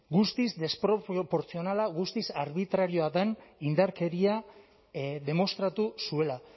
guztiz desproportzionala guztiz arbitrarioa den indarkeria demostratu zuela